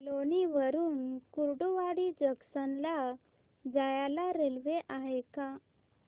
लोणी वरून कुर्डुवाडी जंक्शन ला जायला रेल्वे आहे का